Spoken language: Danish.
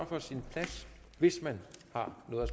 fra sin plads hvis man har noget